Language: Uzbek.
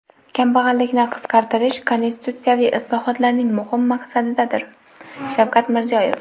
"Kambag‘allikni qisqartirish – konstitutsiyaviy islohotlarning muhim maqsadidir" – Shavkat Mirziyoyev.